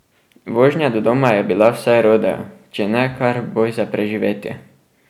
Vožnja do doma je bila vsaj rodeo, če ne kar boj za preživetje.